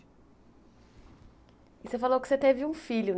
E você falou que você teve um filho.